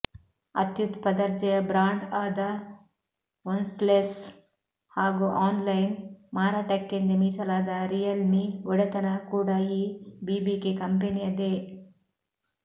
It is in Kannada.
ಅತ್ಯುತ್ಛ ದರ್ಜೆಯ ಬ್ರಾಂಡ್ ಆದ ಒನ್ಪ್ಲಸ್ ಹಾಗೂ ಆನ್ಲೈನ್ ಮಾರಾಟಕ್ಕೆಂದೇ ಮೀಸಲಾದ ರಿಯಲ್ಮಿ ಒಡೆತನ ಕೂಡ ಈ ಬಿಬಿಕೆ ಕಂಪೆನಿಯದೇ